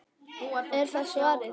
Er það svarið?